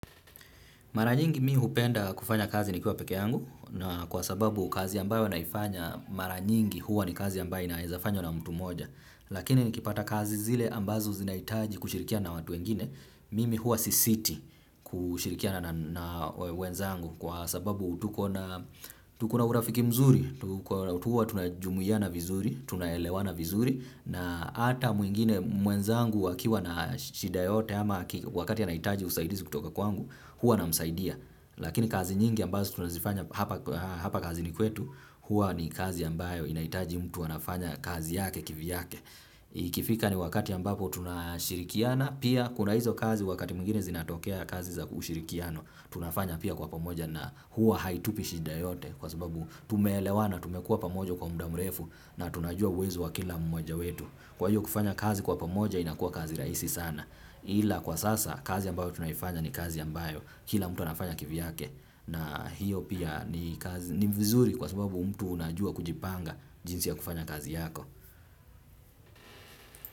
Mara nyingi mi hupenda kufanya kazi nikiwa pekee yangu na kwa sababu kazi ambayo naifanya mara nyingi huwa ni kazi ambayo inaezafanywa na mtu moja lakini nikipata kazi zile ambazo zinahitaji kushirikia na watu wengine mimi huwa sisiti kushirikia na wenzangu kwa sababu tuko na urafiki mzuri, huwa tunajumuiana vizuri, tunaelewana vizuri na hata mwingine mwenzangu wakiwa na shida yoyote ama wakati anahitaji usaidizi kutoka kwangu huwa namsaidia, lakini kazi nyingi ambazo tunazifanya hapa kazini kwetu, huwa ni kazi ambayo inahitaji mtu anafanya kazi yake kivyake. Ikifika ni wakati ambapo tunashirikiana, pia kuna hizo kazi wakati mwingine zinatokea kazi za ushirikiano, tunafanya pia kwa pamoja na huwa haitupi shida yoyote kwa sababu tumeelewa na tumekua pamojo kwa muda mrefu na tunajua uwezo wa kila mmoja wetu. Kwa hiyo kufanya kazi kwa pamoja inakua kazi rahisi sana ila kwa sasa kazi ambayo tunaifanya ni kazi ambayo kila mtu anafanya kivyake na hiyo pia ni vizuri kwa sababu mtu unajua kujipanga jinsi ya kufanya kazi yako.